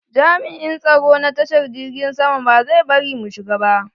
Jami'in tsaro na tashar jirgin sama ba zai bari mu shiga ba.